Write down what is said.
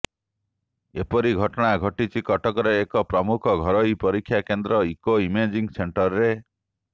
ଏପରି ଘଟଣା ଘଟିଛି କଟକର ଏକ ପ୍ରମୁଖ ଘରୋଇ ପରୀକ୍ଷା କେନ୍ଦ୍ର ଇକୋ ଇମେଜିଂ ସେଂଟରରେ